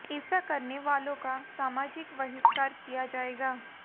एेसा करने वालों का सामाजिक बहिष्कार किया जाएगा